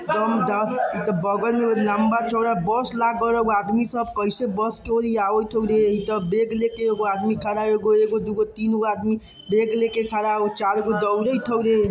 लम्बा-चौड़ा बस लागल हो| आदमी सब कैसे बस होरे| इतो बैग लेके एगो आदमी खड़ा है एगो दूगो तीनो बैग आदमी बैग लेके खड़ा हउ चारगो दौरेत होरे |